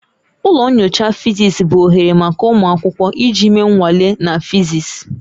Ụlọ nyocha physics bụ oghere maka ụmụ akwụkwọ iji mee nnwale na physics